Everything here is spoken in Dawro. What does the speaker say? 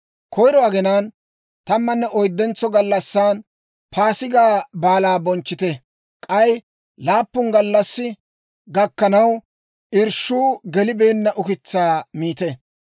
«‹ «Koyiro aginaan, tammanne oyddentso gallassan Paasigaa Baalaa bonchchite; k'ay laappun gallassi gakkanaw, irshshuu gelibeenna ukitsaa miite.